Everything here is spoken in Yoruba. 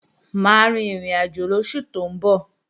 Mà á rin ìrìnàjò lóṣù tó ń bọ̀